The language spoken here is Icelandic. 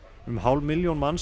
um hálf milljón manna